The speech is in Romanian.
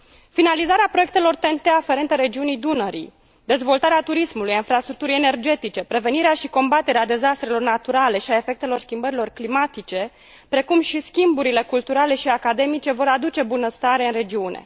Finalizarea proiectelor TEN T aferente regiunii Dunării, dezvoltarea turismului, a infrastructurii energetice, prevenirea și combaterea dezastrelor naturale și a efectelor schimbărilor climatice, precum și schimburile culturale și academice vor aduce bunăstare în regiune.